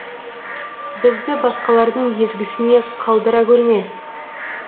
бізді басқалардың езгісіне қалдыра гөрме